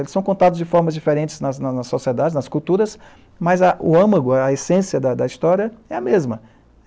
Eles são contados de formas diferentes nas nas sociedades, nas culturas, mas o âmago, a essência da da história é a mesma.